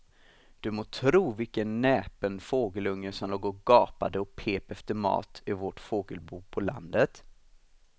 Du må tro vilken näpen fågelunge som låg och gapade och pep efter mat i vårt fågelbo på landet.